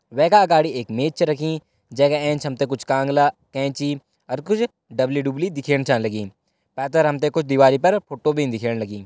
वै का अगाड़ी एक मेज छ रखीं जै का एंच हम त कुछ कांगला कैंची अर कुछ डबली डुब्ली दिखेण छा लगीं पैथर हम त कुछ दीवाली पर फोटो भी दिखेण लगीं।